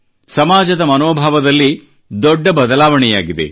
ಸಮಾಜದ ಮನೋಭಾವದಲ್ಲಿ ದೊಡ್ಡ ಬದಲಾವಣೆಯಾಗಿದೆ